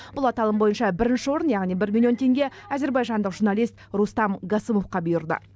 бұл аталым бойынша бірінші орын яғни бір миллион теңге әзербайжандық журналист рустам гасымовқа бұйырды